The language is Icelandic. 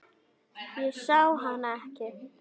Ég sá hann ekki.